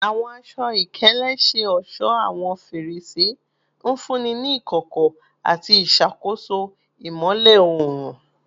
Awọn aṣọ-ikele ṣe ọṣọ awọn ferese, nfunni ni ikọkọ ati iṣakoso imọlẹ oorun